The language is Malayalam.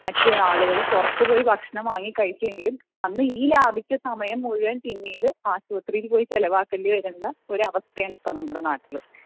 ആളുകൾ പുറത്തു പോയി ഭക്ഷണം വാങ്ങി കഴിക്കുകയും അന്ന് ഈ ലാഭിച്ച സമയം മുഴുവനും പിന്നീട് ആശുപത്രീയിൽ പോയി ചിലവാക്കേണ്ട അവസ്ഥയാണ് ഉള്ളത്